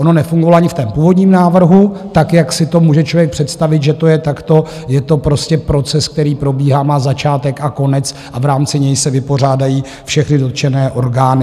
Ono nefungovalo ani v tom původním návrhu tak, jak si to může člověk představit, že to je takto, je to prostě proces, který probíhá, má začátek a konec a v rámci něj se vypořádají všechny dotčené orgány.